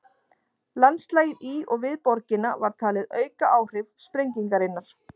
Landslagið í og við borgina var talið auka áhrif sprengingarinnar.